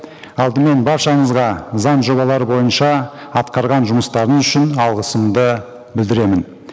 алдымен баршаңызға заң жобалары бойынша атқарған жұмыстарыңыз үшін алғысымды білдіремін